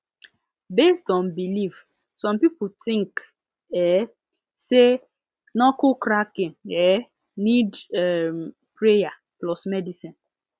based on belief some people think um say knuckle cracking um need um prayer plus medicine